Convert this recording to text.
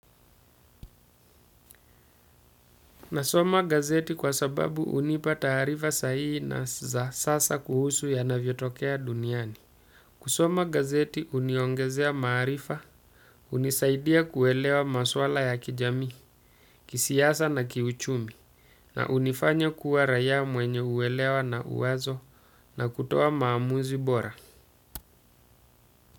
Nasoma gazeti kwa sababu hunipa taarifa sahihi na za sasa kuhusu yanavyotokea duniani. Kusoma gazeti uniongezea maarifa unisaidia kuelewa maswala ya kijamii kisiasa na kiuchumi na unifanya kuwa raia mwenye uekewa na uwazo na kutoa maamuzi bora.